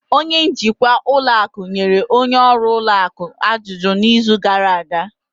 Onye njikwa ụlọ akụ nyere onye ọrụ ụlọ akụ ajụjụ n'izu gara aga